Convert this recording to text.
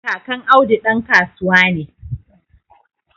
Kakan Audu dan kasuwa ne